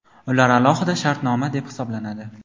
ular alohida shartnoma deb hisoblanadi.